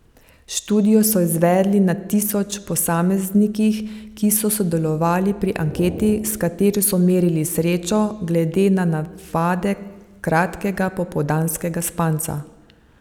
Študijo so izvedli na tisoč posameznikih, ki so sodelovali pri anketi, s katero so merili srečo glede na navade kratkega popoldanskega spanca.